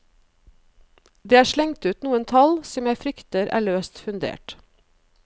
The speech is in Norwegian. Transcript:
Det er slengt ut noen tall, som jeg frykter er løst fundert.